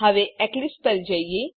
હવે એક્લીપ્સ પર જઈએ